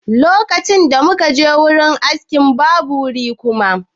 Lokacin da muka je wajen aski, babu wuri kuma.